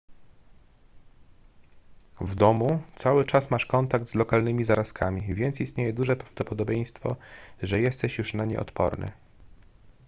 w domu cały czas masz kontakt z lokalnymi zarazkami więc istnieje duże prawdopodobieństwo że jesteś już na nie odporny